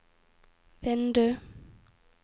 vindu